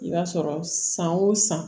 I b'a sɔrɔ san o san